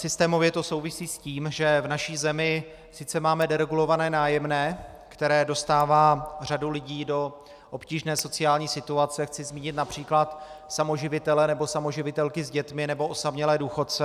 Systémově to souvisí s tím, že v naší zemi sice máme deregulované nájemné, které dostává řadu lidí do obtížné sociální situace - chci zmínit například samoživitele nebo samoživitelky s dětmi nebo osamělé důchodce.